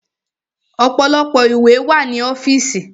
Ọ̀pọ̀lọpọ̀ ìwé wà ní ọ́fìsì.